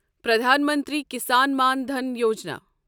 Pradhan Mantri Kisan Maan Dhan Yojana